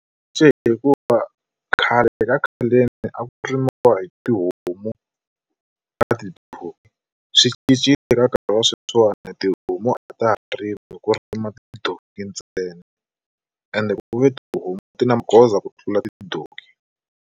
hikuva khale ka khaleni a ku rimiwa hi tihomu na tidonki swi cincile eka nkarhi wa sweswiwani tihomu a ta ha rimi ku rima tidonki ntsena ende ku ve tihomu ti na magoza ku tlula tidonki.